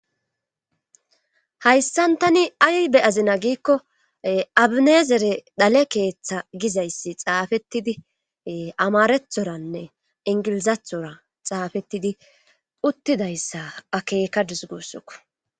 Hayssan tani ay be azina giikko abineezere dale keeththa gizayssi xaafettidi amarethoranne ingilizathora xaafettidi uttidayssa akeeka disgossokko.